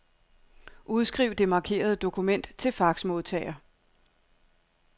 Udskriv det markerede dokument til faxmodtager.